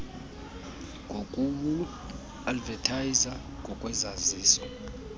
ngokuwu advethayiza ngokwezaziso